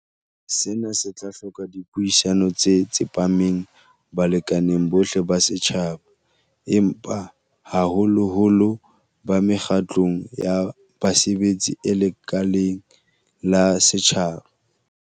Sena se tla hloka dipuisano tse tsepameng balekaneng bohle ba setjhaba, empa haholoholo ba mekgatlong ya basebetsi e lekaleng la setjhaba.